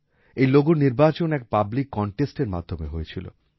এই লোগোর নির্বাচন এক পাবলিক কনটেস্টের মাধ্যমে হয়েছিল